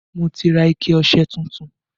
Mo ti ra ike ọṣẹ tuntun